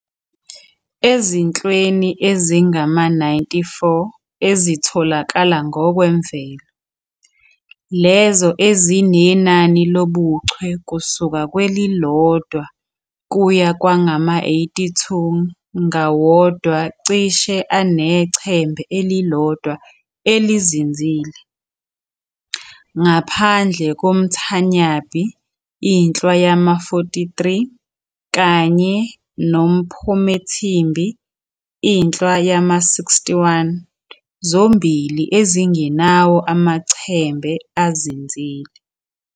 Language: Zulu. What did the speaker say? Ezinhlweni ezingama-94 ezitholakala ngokwemvelo, lezo ezinenani lobuchwe kusuka kwelilodwa kuya kwangama-82, ngawodwa cishe anechembe elilodwa elizinzile, ngaphandle komThanyambi, inhlwa yama-43 kanye nomPhomethimbi, inhlwa yama-61, zombili ezingenawo amachembe azinzile.